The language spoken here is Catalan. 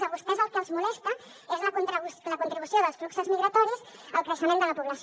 a vostès el que els molesta és la contribució dels fluxos migratoris al creixement de la població